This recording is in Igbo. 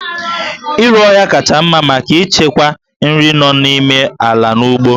Iru ọhịa kacha mma maka ichekwa nri nọ n'ime ala n'ugbo